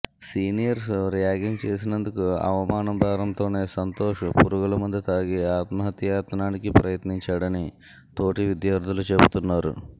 seniors ragging చేసినందుకు అవమాన భారంతోనే సంతోష్ పురుగుల మందు తాగి ఆత్మహత్యాయత్నానికి ప్రయత్నించాడని తోటి విద్యార్థులు చెబుతున్నారు